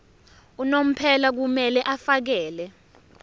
unomphela kumele afakele